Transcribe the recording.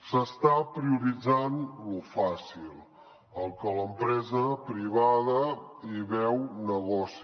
s’està prioritzant lo fàcil al que l’empresa privada hi veu negoci